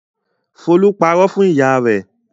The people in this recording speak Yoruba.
Folú pariwo fún ìyá rẹ̀?